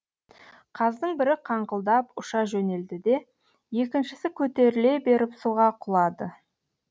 қаздың бірі қаңқылдап ұша жөнелді де екіншісі көтеріле беріп суға құлады